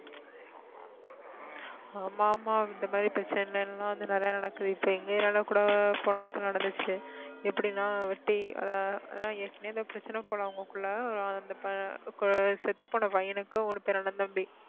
ஆமா ஆமா இந்த மாதிரி பிரச்சனை எல்லாம் வந்து நிறைய நடக்குது இப்ப எங்க area ல கூட போன வருஷம் நடந்துச்சு எப்படின்னா வெட்டி அதை அதாவது ஏற்கனவே ஏதோ பிரச்சனை போல அவங்களுக்குள்ள செத்துப்போன பையனுக்கு மூணு பேர் அண்ணன் தம்பி